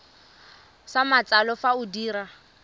sa matsalo fa o dira